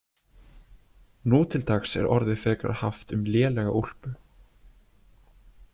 Nú til dags er orðið frekar haft um lélega úlpu.